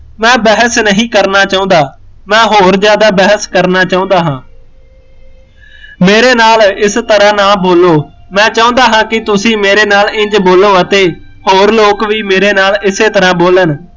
ਮੈਂ ਬਹਿਸ ਨਹੀਂ ਕਰਨਾ ਚਾਹੁੰਦਾ ਮੈਂ ਹੋਰ ਜ਼ਿਆਦਾ ਬਹਿਸ ਕਰਨਾ ਚਾਹੁੰਦਾ ਹਾਂ ਮੇਰੇ ਨਾਲ ਇਸ ਤਰ੍ਹਾਂ ਨਾ ਬੋਲੋ ਮੈਂ ਚਾਹੁੰਦਾ ਹਾਂ ਕਿ ਤੁਸੀਂ ਮੇਰੇ ਨਾਲ ਇੰਜ਼ ਬੋਲੋ ਅਤੇ ਹੋਰ ਲੋਕੀ ਵੀ ਮੇਰੇ ਨਾਲ ਇਸੇ ਤਰ੍ਹਾਂ ਬੋਲਨ